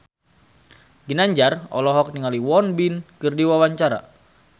Ginanjar olohok ningali Won Bin keur diwawancara